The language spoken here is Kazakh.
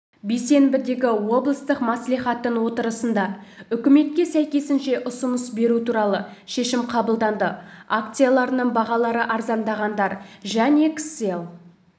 бейсенбідегі облыстық маслихаттың отырысында үкіметке сәйкесінше ұсыныс беру туралы шешім қабылданды акцияларының бағалары арзандағандар және кселл